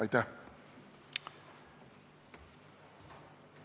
Aitäh!